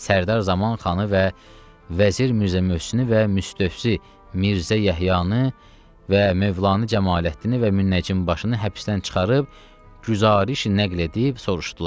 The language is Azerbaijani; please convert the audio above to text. Sərdar Zaman xanı və vəzir Mirzə möhsini və Müstəzi Mirzə Yəhyanı və mövlanə Camaləddini və Münnəcım başını həbsdən çıxarıb güzarişi nəql edib soruşdular.